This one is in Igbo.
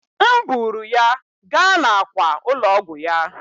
M buuru ya gaa n'àkwà ụlọ ọgwụ ya.